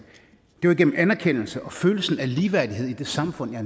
det var igennem anerkendelse og følelsen af ligeværdighed i det samfund jeg